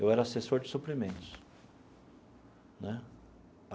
Eu era assessor de suprimentos né.